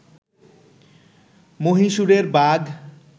মহীশুরের বাঘ